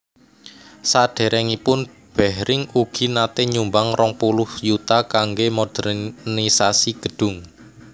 Saderengipun Behring ugi nate nyumbang rong puluh yuta kangge modernisasi gedung